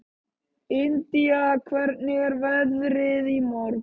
Indía, hvernig er veðrið á morgun?